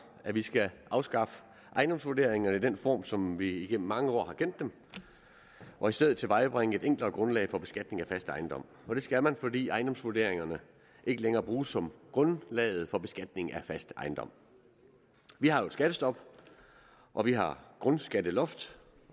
at vi skal afskaffe ejendomsvurderingerne i den form som vi igennem mange år har kendt dem og i stedet tilvejebringe et enklere grundlag for beskatning af fast ejendom og det skal man fordi ejendomsvurderingerne ikke længere bruges som grundlaget for beskatning af fast ejendom vi har jo et skattestop og vi har grundskatteloft